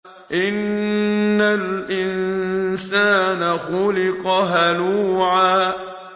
۞ إِنَّ الْإِنسَانَ خُلِقَ هَلُوعًا